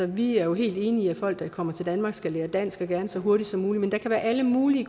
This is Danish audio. vi er helt enige i at folk der kommer til danmark skal lære dansk og gerne så hurtigt som muligt men der kan være alle mulige